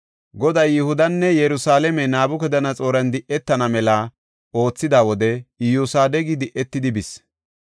Goday Yihudanne Yerusalaame Nabukadanaxooran di7etana mela oothida wode Iyosadeqi di7etidi bis.